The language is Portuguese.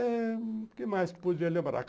Eh O que mais que podia lembrar?